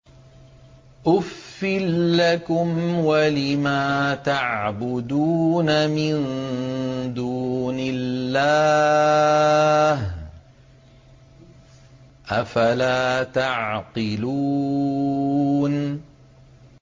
أُفٍّ لَّكُمْ وَلِمَا تَعْبُدُونَ مِن دُونِ اللَّهِ ۖ أَفَلَا تَعْقِلُونَ